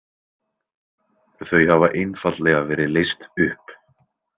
Þau hafa einfaldlega verið leyst upp.